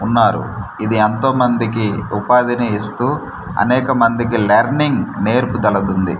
ఉన్నారు ఇది ఎంతోమందికి ఉపాధిని ఇస్తూ అనేక మందికి లెర్నింగ్ నేర్పుదలదుంది.